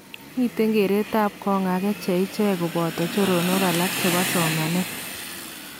Miten keretab kong akee che ichek koboto choronok alak chebo somaneet